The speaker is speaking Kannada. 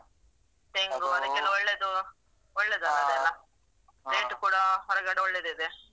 ತೆಂಗು ಅದಿಕ್ಕೆಲ್ಲ ಒಳ್ಳೆದು ಒಳ್ಳೆದಲ ಅದೆಲ್ಲಾ rate ಕೂಡ ಹೊರಗಡೆ ಒಳ್ಳೆದಿದೆ.